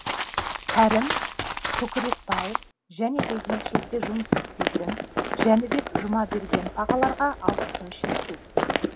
кәрім көкірекбаев және де елшілікте жұмыс істейтін жәнібек жұмабергенов ағаларға алғысым шексіз